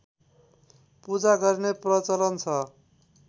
पूजा गर्ने प्रचलन छ